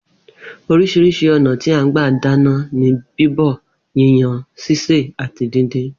Orís̩irís̩i ò̩nà tí à ń gbà dáná ni bíbò̩, yíyan, sisè àti díndín